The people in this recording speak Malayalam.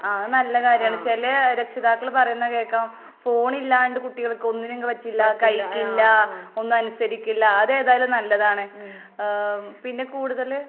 ആഹ് അത് നല്ല കാര്യാണ്. ചെലെ രക്ഷിതാക്കള് പറയുന്ന കേക്കാം ഫോണില്ലാണ്ട് കുട്ടികൾക്കൊന്നിനും പറ്റില്ല, കഴിക്കില്ല, ഒന്നും അനുസരിക്കില്ല. അതേതായാലും നല്ലതാണ്. ഏഹ് പിന്നെ കൂടുതല്